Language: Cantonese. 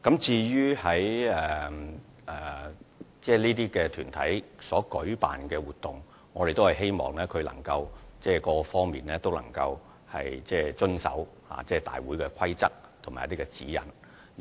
關於各團體所舉辦的活動，我們希望它們在各方面均能遵守大會的規則及指引。